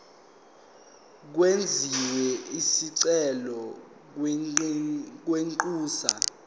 kwenziwe isicelo kwinxusa